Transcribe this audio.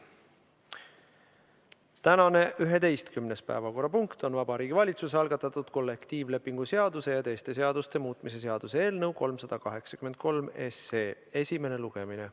Tänane 11. päevakorrapunkt on Vabariigi Valitsuse algatatud kollektiivlepingu seaduse ja teiste seaduste muutmise seaduse eelnõu 383 esimene lugemine.